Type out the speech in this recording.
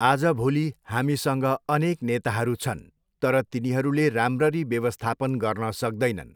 आजभोलि हामीसँग अनेक नेताहरू छन् तर तिनीहरूले राम्ररी व्यवस्थापन गर्न सक्दैनन्।